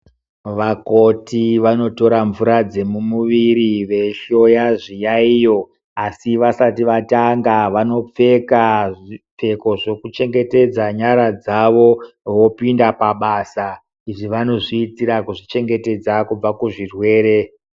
Vakoti vanotora mvura dzemumuviri veihloya zviyaiyo asi vasati vatanga vanopfeka zvipfeko zvekuchengetedza nyara dzavo vopinda pabasa. lzvi vanozviitira kuzvichengetedza kubva kuzvirwere.